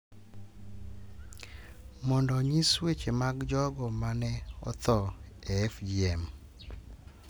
Mondo onyis weche mag jogo ma ne otho e FGM,